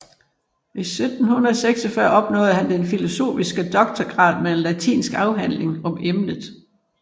I 1746 opnåede han den filosofiske doktorgrad med en latinsk afhandling om emnet